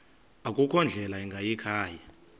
akukho ndlela ingayikhaya